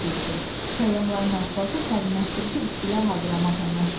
Səyyahların aşpazı sərinləşdirici içkilər hazırlamaqla məşğul idi.